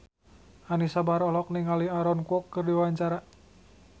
Anisa Bahar olohok ningali Aaron Kwok keur diwawancara